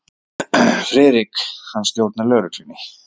FRIÐRIK: Hann stjórnar lögreglunni.